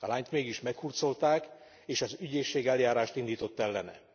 A lányt mégis meghurcolták és az ügyészség eljárást indított ellene.